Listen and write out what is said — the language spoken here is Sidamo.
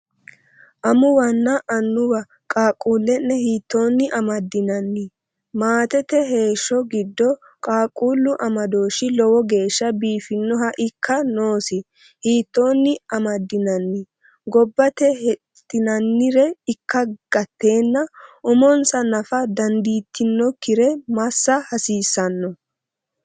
Amuwanna Annuwa! qaaqquulle’ne hiittoonni amaddinanni? Maatete heeshsho giddo qaaqquullu amadooshshi lowo geeshsha biifinoha ikka noosi hiittoonni amaddinanni? Gobbate hexxinannire ikka gatteenna umonsa nafa dandiitinokkire massa haasiisano?